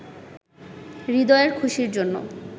হৃদয়ের খুশির জন্য